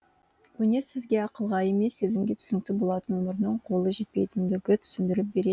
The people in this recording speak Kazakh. өнер сізге ақылға емес сезімге түсінікті болатын өмірдің қолы жетпейтіндігі түсіндіріп бере